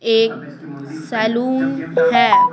एक सैलून है।